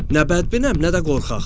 Nə bədbinəm, nə də qorxaq.